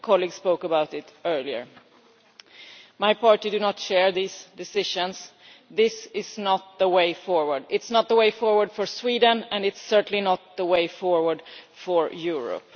A colleague spoke about it earlier. My party does not share this decision this is not the way forward. It is not the way forward for Sweden and it is certainly not the way forward for Europe.